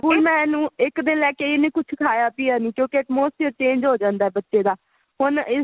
ਹੁਣ ਮੈਂ ਇਹਨੂੰ ਇੱਕ ਦਿਨ ਲੈਕੇ ਆਈ ਇਹਨੇ ਕੁੱਝ ਖਾਇਆ ਪੀਆ ਨਹੀਂ ਕਿਉਂਕਿ atmosphere change ਹੋ ਜਾਂਦਾ ਬੱਚੇ ਦਾ ਹੁਣ ਇਹ